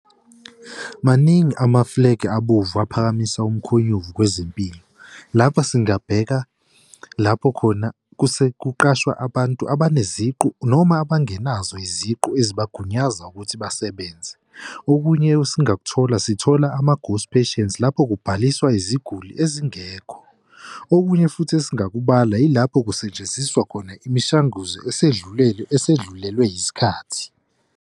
Maningi amafulegi abovu aphakamisa umkhonyovu kwezempilo. Lapho singabheka lapho khona kuqashwa abantu abanezigubhu noma abangenazo iziqu ezibagunyaza ukuthi basebenze. Okunye esingakuthola sithola ama-ghost patience lapho kubhaliswa iziguli ezingekho. Okunye futhi esingakubala yilapho kusetshenziswa khona imishanguzo esedlulelwe esedlulilwe yisikhathi.